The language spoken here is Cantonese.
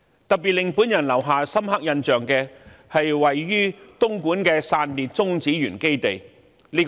特別令我留下深刻印象的，是位於東莞的中國散裂中子源基地。